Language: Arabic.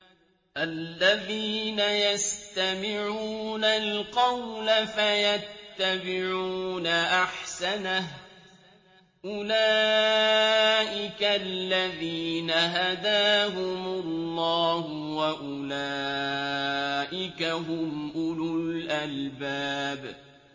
الَّذِينَ يَسْتَمِعُونَ الْقَوْلَ فَيَتَّبِعُونَ أَحْسَنَهُ ۚ أُولَٰئِكَ الَّذِينَ هَدَاهُمُ اللَّهُ ۖ وَأُولَٰئِكَ هُمْ أُولُو الْأَلْبَابِ